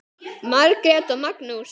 Margrét og Magnús.